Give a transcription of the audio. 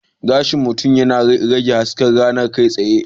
Gashin mutum yana rage bugun hasken rana kai tsaye.